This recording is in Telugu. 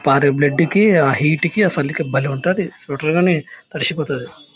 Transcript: పారే బ్లడ్ కి ఆ హీట్ కి ఆ చలికి భలే ఉంటది. స్వెటర్ గాని తడిసిపోతది.